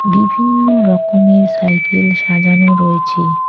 বিভিন্ন রকমের সাইকেল সাজানো রয়েছে।